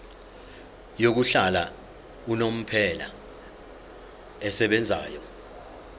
yokuhlala unomphela esebenzayo